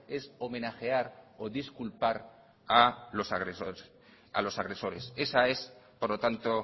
es a homenajear o disculpar a los agresores esa es por lo tanto